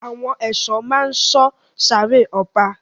Àwọn èso ma sọ sáré ọba.